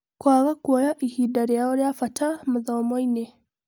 Kwaga kuoya ihinda rĩao rĩa bata mathomo-inĩ.